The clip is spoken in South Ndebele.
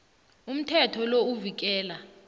umthetho lo uvikela